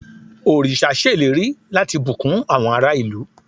oríṣa ṣèlérí lati bukun àwọn ará ìlú